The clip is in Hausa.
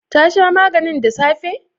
Ta sha maganin da safe?